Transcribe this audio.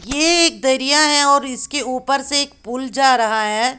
ये एक दरिया है और इसके ऊपर से एक पूल जा रहा है।